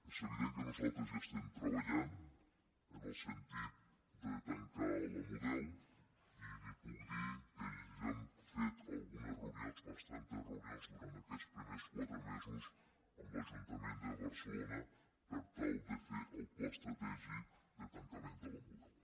és evident que nosaltres hi estem treballant en el sentit de tancar la model i li puc dir que ja hem fet algunes reunions bastantes reunions durant aquests primers quatre mesos amb l’ajuntament de barcelona per tal de fer el pla estratègic de tancament de la model